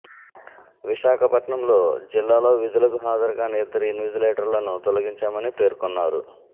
విశాఖపట్నంలో జిల్లాలో విధులకు హాజరు కానీ ఇద్దరు ఇన్విజిలేటర్లను తొలగించామని పేర్కొన్నారు